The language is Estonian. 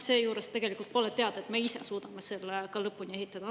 Seejuures pole teada, et me suudame selle ka lõpuni ehitada.